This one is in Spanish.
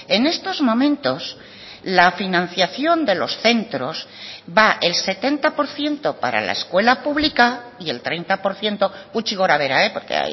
en estos momentos la financiación de los centros va el setenta por ciento para la escuela pública y el treinta por ciento gutxi gora bera porque